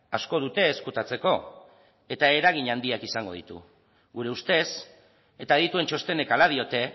asko dute ezkutatzeko eta eragin handiak izango ditu gure ustez eta adituen txostenek hala diote